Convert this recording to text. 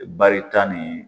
Barita ni